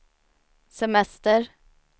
semester